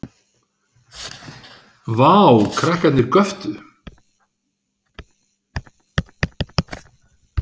Vá. krakkarnir göptu.